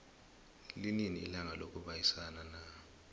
linini ilanga lokubayisana na